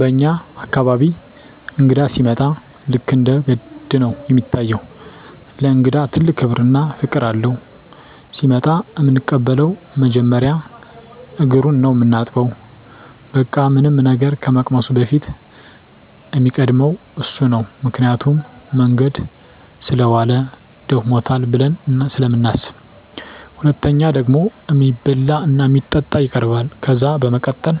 በኛ አካባቢ እንግዳ ሲመጣ ልክ እንደ ገድ ነው እሚታየው። ለእንግዳ ትልቅ ክብር እና ፍቅር አለው። ሲመጣ እምንቀበለው መጀመሪያ እግሩን ነው ምናጥበው በቃ ምንም ነገር ከመቅመሱ በፊት እሚቀድመው እሱ ነው ምክንያቱም መንገድ ሰለዋለ ደክሞታል ብለን ስለምናስብ። ሁለተኛው ደግሞ እሚበላ እና እሚጠጣ ይቀርባል። ከዛ በመቀጠል